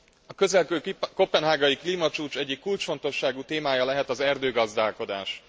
A közelgő koppenhágai klímacsúcs egyik kulcsfontosságú témája lehet az erdőgazdálkodás.